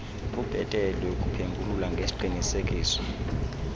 kubhetele ukuphengulula ngesiqinisekiso